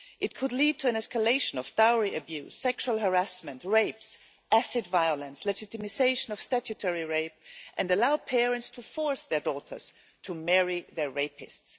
It could lead to an escalation of dowry abuse, sexual harassment, rape, acid violence, legitimisation of statutory rape and allow parents to force their daughters to marry their rapists.